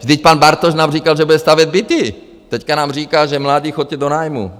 Vždyť pan Bartoš nám říkal, že bude stavět byty, teď nám říká, že mladí choďte do nájmu.